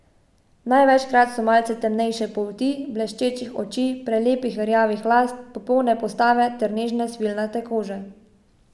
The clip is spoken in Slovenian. Največkrat so malce temnejše polti, bleščečih oči, prelepih rjavih las, popolne postave ter nežne, svilnate kože.